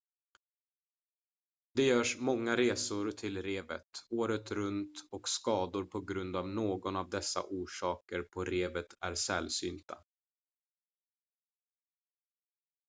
det görs många resor till revet året runt och skador på grund av någon av dessa orsaker på revet är sällsynta